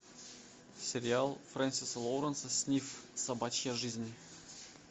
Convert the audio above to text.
сериал фрэнсиса лоуренса снифф собачья жизнь